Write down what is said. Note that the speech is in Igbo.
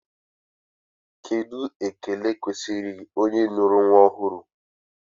Kedụ ekele kwesịrị onye nụrụ nnwa ọhụrụ?